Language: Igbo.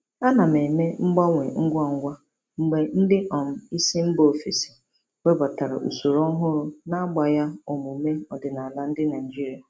Ana m eme mgbanwe ngwa ngwa mgbe ndị um isi mba ofesi webata usoro ọhụrụ na-agbagha omume ọdịnala ndị Naijiria.